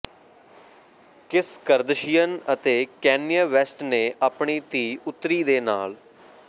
Kim Kardashian ਅਤੇ Kanye West ਨੇ ਆਪਣੀ ਧੀ ਉੱਤਰੀ ਦੇ ਨਾਲ